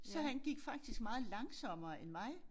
Så han gik faktisk meget langsommere end mig